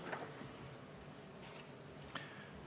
Aitäh!